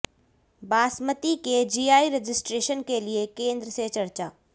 बासमती के GI registration के लिये केन्द्र से चर्चा